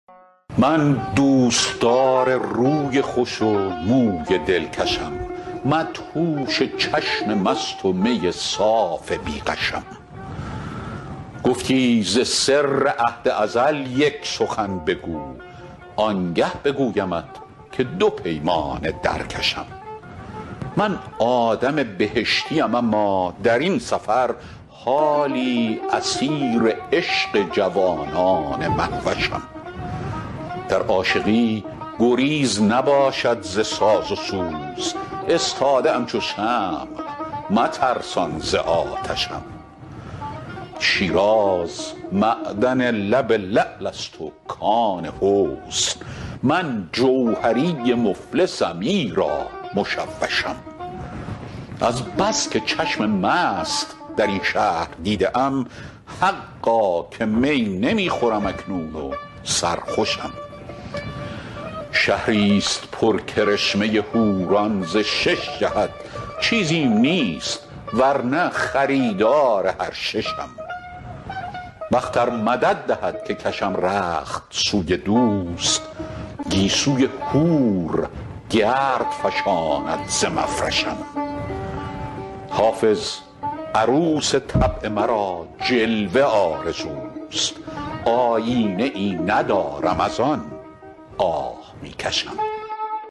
من دوستدار روی خوش و موی دلکشم مدهوش چشم مست و می صاف بی غشم گفتی ز سر عهد ازل یک سخن بگو آنگه بگویمت که دو پیمانه در کشم من آدم بهشتیم اما در این سفر حالی اسیر عشق جوانان مهوشم در عاشقی گزیر نباشد ز ساز و سوز استاده ام چو شمع مترسان ز آتشم شیراز معدن لب لعل است و کان حسن من جوهری مفلسم ایرا مشوشم از بس که چشم مست در این شهر دیده ام حقا که می نمی خورم اکنون و سرخوشم شهریست پر کرشمه حوران ز شش جهت چیزیم نیست ور نه خریدار هر ششم بخت ار مدد دهد که کشم رخت سوی دوست گیسوی حور گرد فشاند ز مفرشم حافظ عروس طبع مرا جلوه آرزوست آیینه ای ندارم از آن آه می کشم